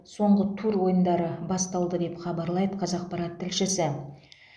соңғы тур ойындары басталды деп хабарлайды қазақпарат тілшісі